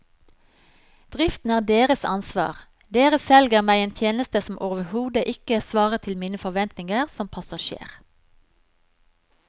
Driften er deres ansvar, dere selger meg en tjeneste som overhodet ikke svarer til mine forventninger som passasjer.